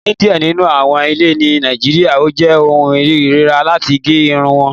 Ní díẹ̀ nínú àwọn ilẹ̀ ni Nàìjíríà, ó jẹ́ ọ̀hùn irira latí gé irùn wọn.